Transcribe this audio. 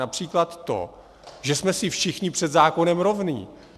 Například to, že jsme si všichni před zákonem rovni.